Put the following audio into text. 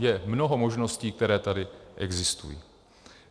Je mnoho možností, které tady existují.